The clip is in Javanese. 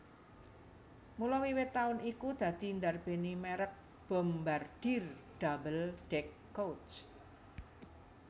Mula wiwit taun iku dadi ndarbèni mèrek Bombardier Double deck Coach